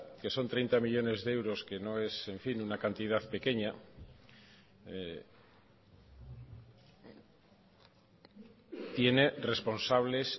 que son treinta millónes de euros que no es una cantidad pequeña tiene responsables